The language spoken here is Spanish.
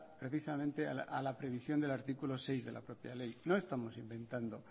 precisamente a la previsión del artículo seis de la propia ley no estamos inventando